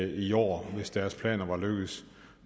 i år hvis deres planer var lykkedes